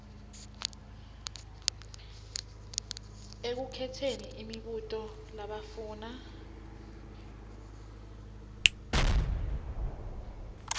ekukhetseni imibuto labafuna